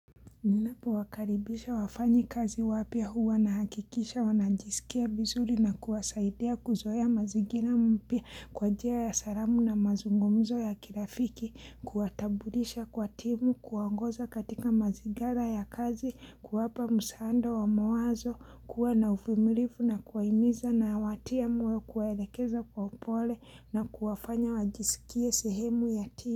Ninapo wakaribisha wafanyi kazi wapya huwa nahakikisha wanajisikia vizuri na kuwasaidia kuzoea mazingira mpya kwa njia ya salamu na mazungumzo ya kirafiki, kuwatambulisha kwa timu, kuwaongoza katika mazigara ya kazi, kuwapa msaada wa mawazo, kuwa na uvumilifu na kuwahimiza na kuwatia moyo kwaelekeza kwa pole na kuwafanya wajisikia sehemu ya timu.